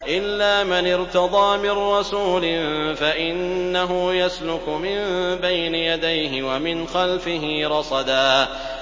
إِلَّا مَنِ ارْتَضَىٰ مِن رَّسُولٍ فَإِنَّهُ يَسْلُكُ مِن بَيْنِ يَدَيْهِ وَمِنْ خَلْفِهِ رَصَدًا